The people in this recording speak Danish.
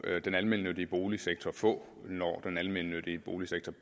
den almennyttige boligsektor få når den almennyttige boligsektor